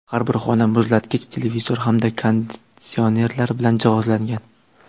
Har bir xona muzlatkich, televizor hamda konditsionerlar bilan jihozlangan.